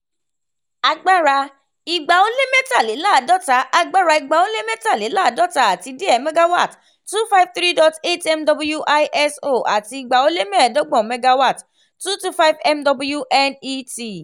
agbara igba -ó-lé-mẹ́talélàádóta agbara igba-ó-lé-mẹ́talélàádóta àti díẹ̀ megawatt two five three dot eight mw iso ati igba-ó-lé-mẹ́ẹ̀dọ́gbọ̀n megawatt two hundred twenty five mw net